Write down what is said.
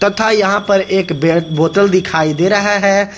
तथा यहां पर एक बे बोतल दिखाई दे रहा है।